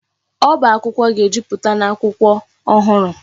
Ọba akwụkwọ ga-ejupụta n'akwụkwọ ọhụrụ.